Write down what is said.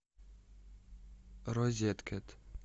розеткед